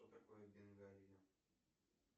что такое бенгальо